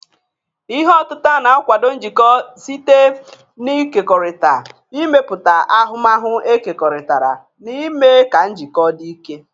Ihe otita na- akwado njikọ site n'ịkekọrịta, ịmepụta ahụmahu ekekọrịtara, na ime ka njikọ dị ike.